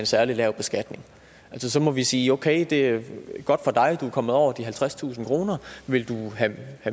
særlig lav beskatning så må vi sige okay det er godt for dig at du er kommet over de halvtredstusind kroner vil du have